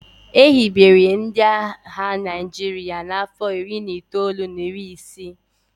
e hibere ndị agha Naijiria n'afọ iri na itoolu na iri isii